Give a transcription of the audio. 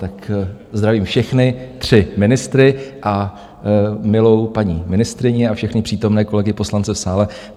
Tak zdravím všechny tři ministry a milou paní ministryni a všechny přítomné kolegy poslance v sále.